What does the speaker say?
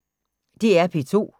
DR P2